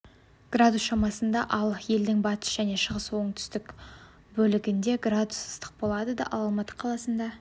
градус шамасында ал елдің батыс шығыс және оңтүстік бөлігінде градус ыстық болады ал алматы қаласында